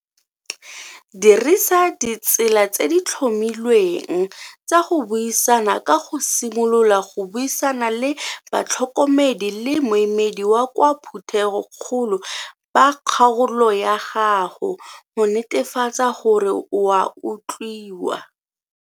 Dirisa ditsela tse di tlhomilweng tsa go buisana ka go simolola go buisana le batlhokomedi le moemedi wa kwa phuthegokgolo ba kgaolo ya gago go netefatsa gore o a utlwiwa.